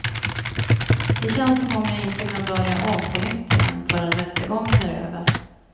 Det känns som om jag inte kan börja om på nytt igen förrän rättegången är över.